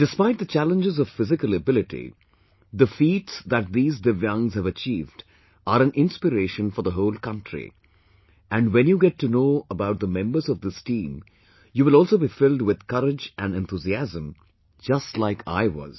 Despite the challenges of physical ability, the feats that these Divyangs have achieved are an inspiration for the whole country and when you get to know about the members of this team, you will also be filled with courage and enthusiasm, just like I was